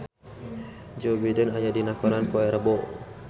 Joe Biden aya dina koran poe Rebo